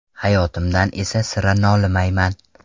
Hayotimdan esa sira nolimayman.